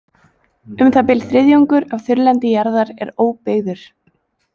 Um það bil þriðjungur af þurrlendi jarðar er óbyggður.